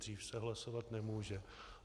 Dřív se hlasovat nemůže.